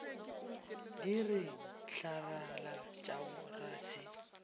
di re tlaralatšago ra se